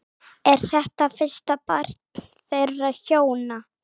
Er þetta fyrsta barn þeirra hjóna